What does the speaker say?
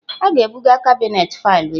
A ga-ebuga kabinet faịlụ echi